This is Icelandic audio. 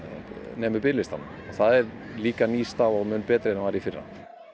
nemur biðlistanum það er líka ný staða og mun betri en var í fyrra